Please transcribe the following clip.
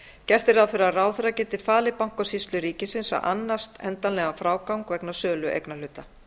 gert er ráð fyrir að ráðherra geti falið bankasýslu ríkisins að annast endanlegan frágang vegna sölu eignarhluta